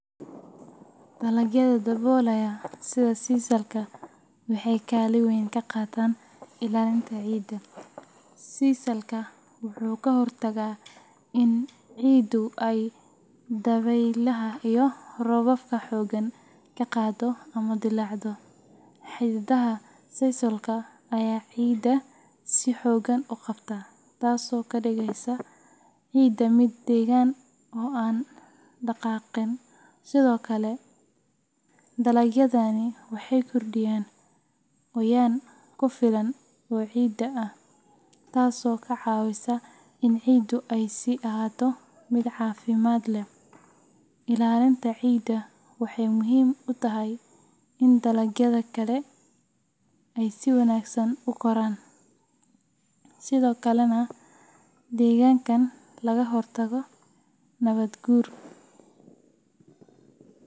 Dalagyada daboolaya sida sisalka waxay kaalin weyn ka qaataan ilaalinta ciidda. Sisalku wuxuu ka hortagaa in ciiddu ay dabaylaha iyo roobabka xooggan ka qaado ama dillaacdo. Xididdada sisalka ayaa ciidda si xooggan u qabta, taasoo ka dhigaysa ciidda mid deggan oo aan dhaqaaqin. Sidoo kale, dalagyadani waxay kordhiyaan qoyaan ku filan oo ciidda ah, taasoo ka caawisa in ciiddu ay sii ahaato mid caafimaad leh. Ilaalintan ciidda waxay muhiim u tahay in dalagyada kale ay si wanaagsan u koraan, sidoo kalena deegaanka laga hortago nabaad guur.